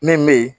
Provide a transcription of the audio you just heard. Min be yen